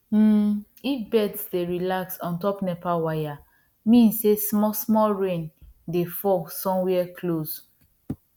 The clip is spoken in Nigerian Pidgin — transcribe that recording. um if birds dey relax on top nepa wire mean sey small small rain dey fall somewhere close